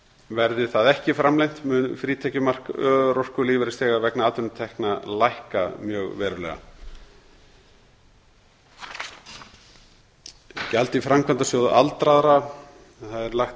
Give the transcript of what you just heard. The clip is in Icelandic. verði það ekki framlengt mun frítekjumark örorkulífeyrisþega vegna atvinnutekna lækka mjög verulega gjald í framkvæmdasjóð aldraðra það er lagt